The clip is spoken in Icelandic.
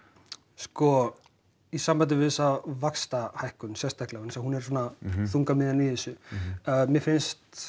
sko í sambandi við þessa vaxta hækkun sérstaklega vegna þess að hún er svona þungamiðjan í þessu mér finnst